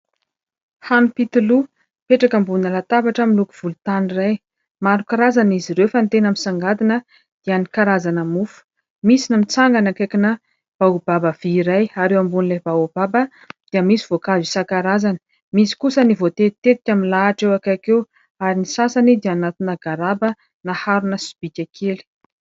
Hanim-pitoloha mipetraka ambonina latabatra miloko volontany irzy iray. Maro karazana izy ireo fa ny tena misongadina dia ny karazana mofo. Misy ny mitsangana akaikina baobaba be iray ary eo ambonin'ilay baobaba dia misy voankazo isan-karazany. Misy kosa ny voatetitetika milahatra eo akaiky eo ary ny sasany dia anatina garaba na harona sobika kely.